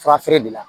Fura feere de la